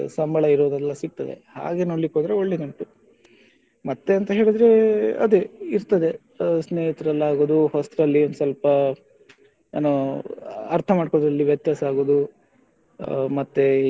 ಸಂಬಳ ಇರುವುದೆಲ್ಲ ಸಿಗ್ತದೆ ಹಾಗೆ ನೋಡ್ಲಿಕ್ಕೆ ಹೋದ್ರೆ ಒಳ್ಳೆ ಕಾಣ್ತದೆ. ಮತ್ತೆ ಎಂತ ಹೇಳಿದ್ರೆ ಅದೇ ಇರ್ತದೆ ಅಹ್ ಸ್ನೇಹಿತರೆಲ್ಲ ಆಗುದು ಹೊಸ್ತಲ್ಲಿ ಸ್ವಲ್ಪ ಏನೋ ಅರ್ಥ ಮಾಡ್ಕೊಳ್ಳುವಲ್ಲಿ ವ್ಯತ್ಯಾಸ ಆಗುದು ಮತ್ತೆ